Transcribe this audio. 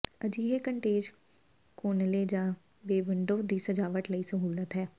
ਅਜਿਹੇ ਕੰਟੇਜ ਕੋਨਲੇ ਜਾਂ ਬੇ ਵਿੰਡੋ ਦੀ ਸਜਾਵਟ ਲਈ ਸਹੂਲਤ ਹੈ